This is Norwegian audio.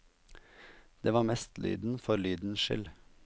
Det var mest lyden for lydens skyld.